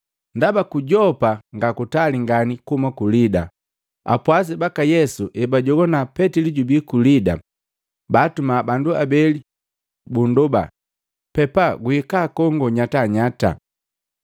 Ndaba ku Yopa nga kutali ngani kuhuma ku Lida, apwasi baka Yesu hebajowana Petili jubi ku Lida, baatuma bandu abeli bunndoba, “Pepa guhika kongo nyatanyata.”